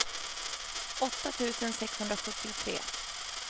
åtta tusen sexhundrasjuttiotre